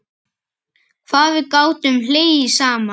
Hvað við gátum hlegið saman.